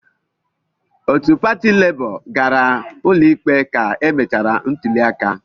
Otu pati Labour gara ụlọikpe ka emechara ntuliaka.